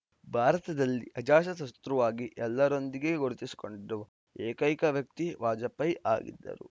ಭಾರತದಲ್ಲಿ ಅಜಾತಶತ್ರುವಾಗಿ ಎಲ್ಲರೊಂದಿಗೂ ಗುರುತಿಸಿಕೊಂಡಿರುವ ಏಕೈಕ ವ್ಯಕ್ತಿ ವಾಜಪೇಯಿ ಆಗಿದ್ದರು